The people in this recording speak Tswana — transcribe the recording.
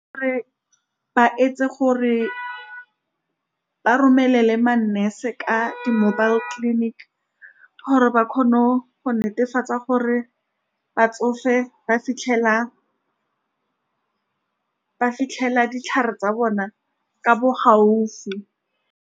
ba etse gore ba romelele ma-nurse ka di-mobile clinic, gore ba kgone go netefatsa gore batsofe ba fitlhela, ba fitlhela ditlhare tsa bona ka bo gaufi.